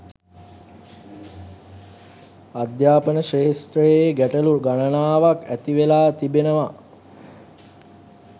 අධ්‍යාපන ක්‍ෂේත්‍රයේ ගැටලු ගණනාවක් ඇති වෙලා තිබෙනවා